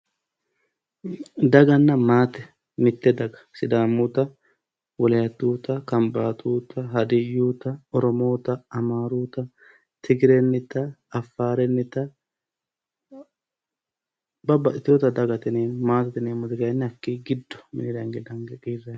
Daganna maate, mite daga sidaamutta, wolatutta, kambaatutta, Hadiyutta, Oromotta, Amaruyitta, Tigirenitta ,Afarenitta babbaxxitinotta dagate yineemmo, maatete yineemmoti giddo minira hinge dange kiirannite.